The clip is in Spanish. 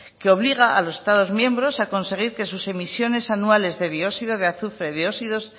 que obliga a los estados miembros a conseguir que sus emisiones anuales de dióxido de azufre dióxidos